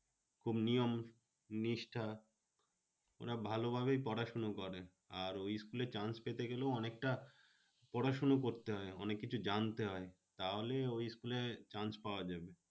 খুব নিয়ম নিষ্ঠা। ওরা ভালো ভাবেই পড়াশোনা করে। আর ওই school এ chance পেতে গেলেও অনেকটা পড়াশোনা করতে হয়। অনেককিছু জানতে হয়। তাহলেই ওই school এ chance পাওয়া যাবে।